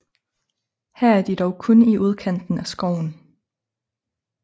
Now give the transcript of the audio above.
Her er de dog kun i udkanten af skoven